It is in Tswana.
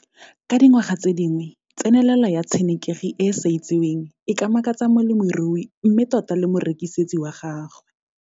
Ka dingwaga tse dingwe tsenelelo ya tshenekegi e e sa itseweng e ka makatsa molemirui mme tota le morekisetsi wa gagwe.